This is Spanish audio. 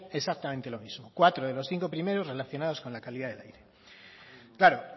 exactamente lo mismo cuatro de los cinco primeros relacionados con la calidad del aire claro